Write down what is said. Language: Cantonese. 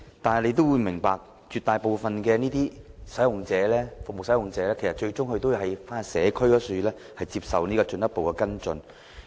大家也明白，絕大部分的服務使用者，其實最終都要返回社區接受進一步跟進。